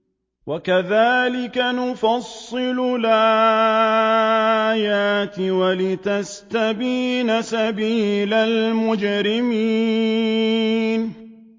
وَكَذَٰلِكَ نُفَصِّلُ الْآيَاتِ وَلِتَسْتَبِينَ سَبِيلُ الْمُجْرِمِينَ